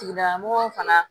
Tigida mɔgɔw fana